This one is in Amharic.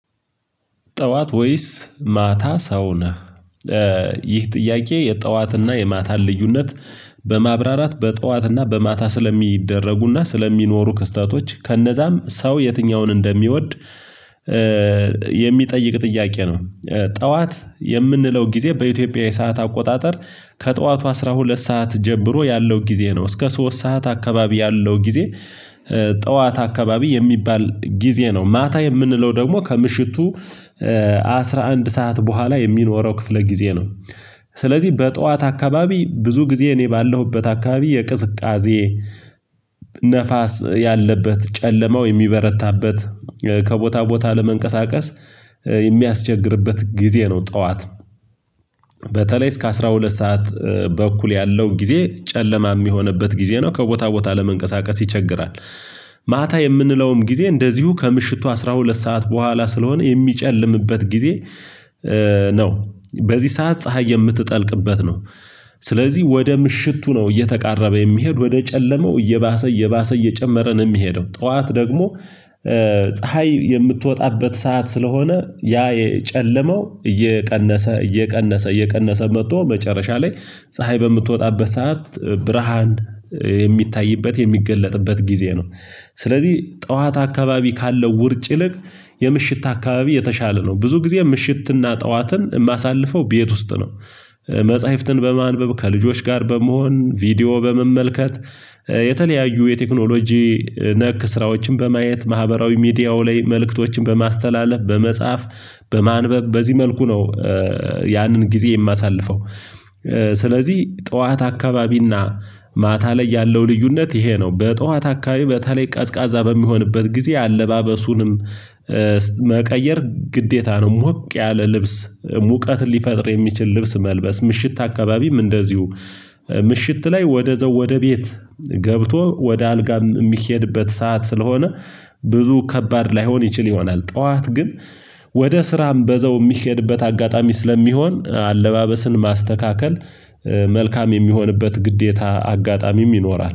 ጠዋት ወይስ ማታ ሰው ነህ? ይህ ጥያቄ የጠዋትና የማታን ልዩነት በማብራራት በጧትና በማታ ስለሚደረጉና ስለሚኖሩ ክስተቶች ከነዛም ሰው የትኛውን እንደሚወድ የሚጠይቅ ጥያቄ ነው ጠዋት የምንለው ጊዜ በኢትዮጵያ የሰዓት አቆጣጠር ከጠዋቱ አስራ ሁለት ሰዓት ጀምሮ ያለው ጊዜ ነው እስከ ሶስት ሰዓት አካባቢ ያለው ጊዜ ጠዋት አካባቢ የሚባል ጊዜ ነው ማታ የምንለው ደግሞ ከምሽቱ አስራ አንድ ሰዓት ቦኋላ የሚኖረው ክፍለ ጊዜ ነው ስለዚህ በጠዋት አካባቢ ብዙ ጊዜ እኔ ባለሁበት አካባቢ የቅዝቃዜ ነፋስ ያለበት ጨለማው የሚበረታበት ከቦታ ቦታ ለመንቀሳቀስ የሚያስቸግርበት ጊዜ ነው ጠዋት በተለይ እስከ አስራ ሁለት ሰዓት በኩል ያለው ጊዜ ጨለማ የሚሆንበት ጊዜ ነው ከቦታ ቦታ ለመንቀሳቀስ ይቸግራል ማታ የምንለውም ጊዜ እንደዚሁ ከምሽቱ አስራ ሁለት ሰዓት በኋላ ስለሆነ የሚጨልምበት ጊዜ ነው በዚህ ሰዓት ፀሀይ የምትጠልቅበት ነው ስለዚህ ወደ ምሽቱ ነው እየተቃረበ የሚሄድ ወደ ጨለማው እየባሰ እየባሰ እየጨመረ ነው የሚሄደው ጠዋት ደግሞ ፀሀይ የምትወጣበት ሰዓት ስለሆነ ያ የጨለመው እየቀነሰ እየቀነሰ እየቀነሰ መጥቶ መጨረሻ ላይ ፀሀይ በምትወጣበት ሰዓት ብርሃን የሚታይበት የሚገለጥበት ጊዜ ነው ስለዚህ ጠዋት አካባቢ ካለው ውርጭ ይልቅ የምሽት አካባቢ የተሻለ ነው ብዙ ጊዜ ምሽትና ጠዋትን የማሳልፈው ቤት ውስጥ ነው መጽሐፍትን በማንበብ ከልጆች ጋር በመሆን ቪዲዮ በመመልከት የተለያዩ የቴክኖሎጂ ነክ ስራዎችን በማየት ማህበራዊ ሚዲያው ላይ መልእክቶችን በማስተላለፍ በመጻፍ በማንበብ በዚህ መልኩ ነው ያንን ጊዜ የማሳልፈው ስለዚህ ጠዋት አካባቢና ማታ ላይ ያለው ልዩነት ይሄ ነው በጠዋት አካባቢ በተለይ ቀዝቃዛ በሚሆንበት ጊዜ አለባበሱንም መቀየር ግዴታ ነው ሞቅ ያለ ልብስ ሙቀት ሊፈጥር የሚችል ልብስ መልበስ ምሽት አካባቢም እንደዚሁ ምሽት ላይ ወደዛው ወደ ቤት ገብቶ ወደ አልጋ የሚሄድበት ሰዓት ስለሆነ ብዙ ከባድ ላይሆን ይችል ይሆናል ጠዋት ግን ወደ ስራም በዛው የሚሄድበት አጋጣሚ ስለሚሆን አለባበስን ማስተካከል መልካም የሚሆንበት ግዴታ አጋጣሚም ይኖራል